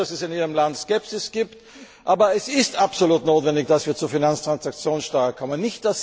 Ich weiß, dass es in Ihrem Land Skepsis gibt, aber es ist absolut notwendig, dass wir zur Finanztransaktionssteuer kommen.